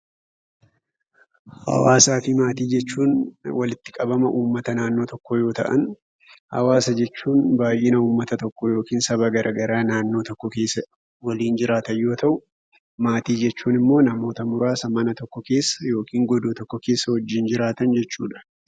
Hawaasaa fi maatii jechuun walitti qabama ummata naannoo tokkoo yoo ta'an, hawaasa jechuun baay'ina ummata tokkoo yookiin saba garaagaraa naannoo tokko keessa waliin jiraatan yoo ta'u, maatii jechuun immoo namoota muraasa mana tokko keessa (godoo tokko keessa) wajjin jiraatan jechuu dha.